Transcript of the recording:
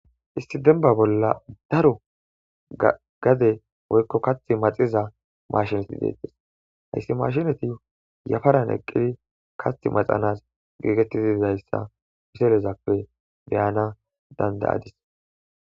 Esii demba bola daro woyko kathi maxiza machineeti detes hessi machineti yafaran eqidii dizayasa picturezape be'anas dandays